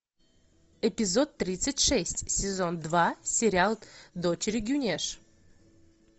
эпизод тридцать шесть сезон два сериал дочери гюнеш